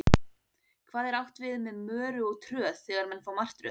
Hvað er átt við með möru og tröð þegar menn fá martröð?